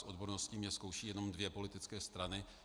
Z odbornosti mě zkoušejí jenom dvě politické strany.